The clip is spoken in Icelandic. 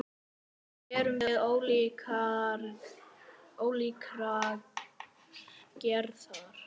Öll erum við ólíkrar gerðar.